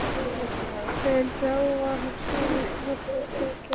En þá var það sem kraftaverkið gerðist.